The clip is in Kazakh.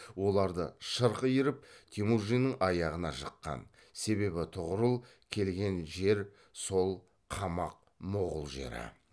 оларды шырқ иіріп темужиннің аяғына жыққан себебі тұғырыл келген жер сол қамақ моғұл жері